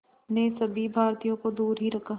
ने सभी भारतीयों को दूर ही रखा